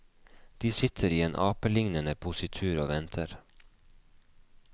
De sitter i en apelignende positur og venter.